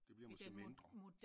Det bliver måske mindre